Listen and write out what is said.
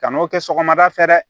Kan'o kɛ sɔgɔmada fɛ dɛ